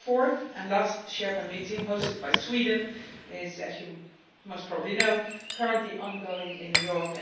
The fourth, and last, Sherpa meeting, hosted by Sweden, is, as you most probably know, currently ongoing in New York.